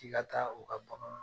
K'i ka taa o ka